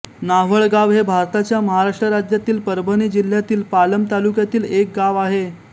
नाव्हळगाव हे भारताच्या महाराष्ट्र राज्यातील परभणी जिल्ह्यातील पालम तालुक्यातील एक गाव आहे